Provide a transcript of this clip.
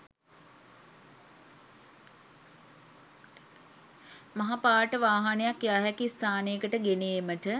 මහ පාරට වාහනයක්‌ යා හැකි ස්‌ථානයකට ගෙන ඒමට